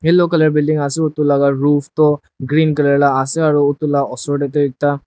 yellow colour building ase edu laka roof toh green colour la ase aro edu la osor tae tu ekta.